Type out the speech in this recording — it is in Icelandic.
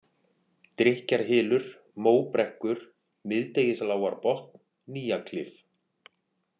Drykkjarhylur, Móbrekkur, Miðdegislágarbotn, Nýjaklif